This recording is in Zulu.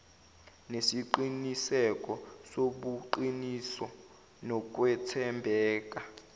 nesiqiniseko sobuqiniso nokwethembeka